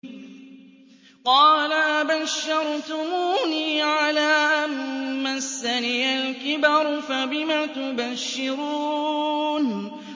قَالَ أَبَشَّرْتُمُونِي عَلَىٰ أَن مَّسَّنِيَ الْكِبَرُ فَبِمَ تُبَشِّرُونَ